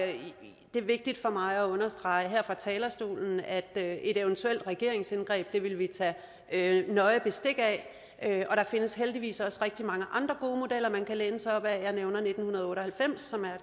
det er vigtigt for mig at understrege her fra talerstolen at et eventuelt regeringsindgreb vil vi tage nøje bestik af og der findes heldigvis også rigtig mange andre gode modeller man kan læne sig op ad jeg nævner nitten otte og halvfems som er